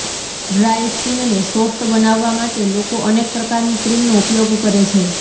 dry સ્કિનને soft બનાવવા માટે લોકો અનેક પ્રકારની ક્રીમનો ઉપયોગ કરે છે